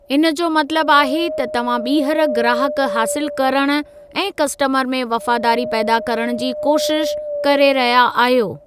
इन जो मतलबु आहे त तव्हां ॿीहर ग्राहक हासिलु करणु ऐं कस्टमर में वफ़ादारी पैदा करण जी कोशिश करे रहिया आहियो।